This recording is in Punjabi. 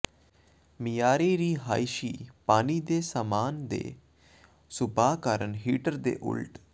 ਮਿਆਰੀ ਰਿਹਾਇਸ਼ੀ ਪਾਣੀ ਦੇ ਸਾਮਾਨ ਦੇ ਸੁਭਾਅ ਕਾਰਨ ਹੀਟਰ ਦੇ ਉਲਟ